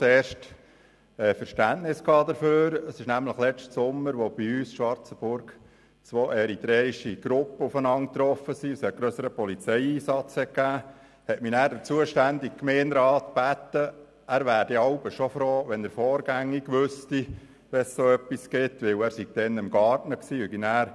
Der zuständige Gemeinderat sagte mir anschliessend, dass er jeweils froh wäre, wenn er vorgängig über einen solchen Vorfall Bescheid wüsste, denn er sei damals im Garten beschäftigt gewesen und habe dann rasch unterbrechen müssen, um zu vermitteln.